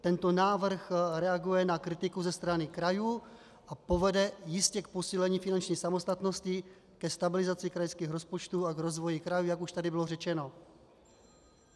Tento návrh reaguje na kritiku ze strany krajů a povede jistě k posílení finanční samostatnosti, ke stabilizaci krajských rozpočtů a k rozvoji krajů, jak už tu bylo řečeno.